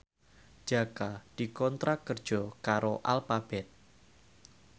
Jaka dikontrak kerja karo Alphabet